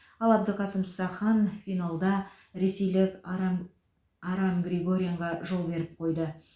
ал әбдіқасым сахан финалда ресейлік арам арам григорянға жол беріп қойды